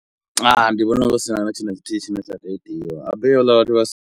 Ndi vhona hu sina na thithu na tshithihi tshine tsha khou itiwa, habe havhala vhathu vha.